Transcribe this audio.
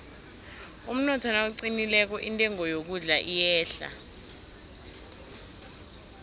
umnotho nawuqinileko intengo yokudla iyehla